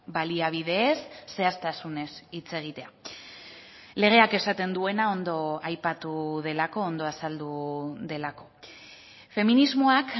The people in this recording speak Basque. baliabideez zehaztasunez hitz egitea legeak esaten duena ondo aipatu delako ondo azaldu delako feminismoak